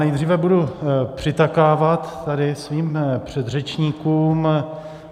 Nejdříve budu přitakávat tady svým předřečníkům.